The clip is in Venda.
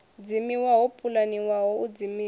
dzimiwa ho pulaniwaho u dzimiwa